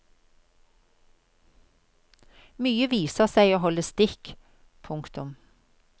Mye viser seg å holde stikk. punktum